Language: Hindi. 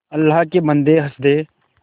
अल्लाह के बन्दे हंस दे